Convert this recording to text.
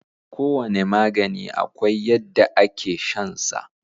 Kowane magani akwai yadda ake shan sa.